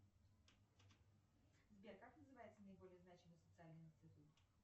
сбер как называется наиболее значимый социальный институт